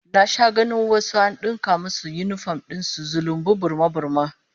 Na sha ganin wasu an dinka musu yinifom din su zulumbu, burma-burma